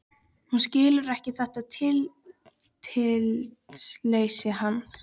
Hún skilur ekki þetta tillitsleysi hans.